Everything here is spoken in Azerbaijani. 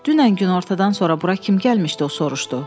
Dünən günortadan sonra bura kim gəlmişdi o soruşdu.